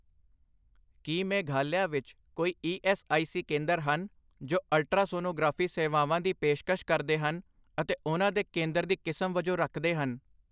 ਕੀ ਮੇਘਾਲਿਆ ਵਿੱਚ ਕੋਈ E S I C ਕੇਂਦਰ ਹਨ ਜੋ ਅਲਟਰਾਸੋਨੋਗ੍ਰਾਫੀ ਸੇਵਾਵਾਂ ਦੀ ਪੇਸ਼ਕਸ਼ ਕਰਦੇ ਹਨ ਅਤੇ ਉਹਨਾਂ ਦੇ ਕੇਂਦਰ ਦੀ ਕਿਸਮ ਵਜੋਂ ਰੱਖਦੇ ਹਨ?